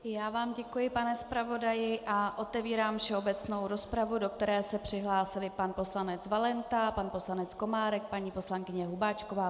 Já vám děkuji, pane zpravodaji, a otevírám všeobecnou rozpravu, do které se přihlásili pan poslanec Valenta, pan poslanec Komárek, paní poslankyně Hubáčková.